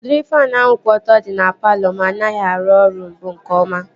Udịri faanụ ahụ kwụ ọtọ dị na palọ m anaghị arụ ọrụ mbụ nke ọma